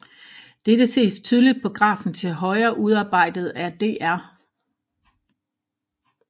Dette ses tydeligt på grafen til højre udarbejdet af Dr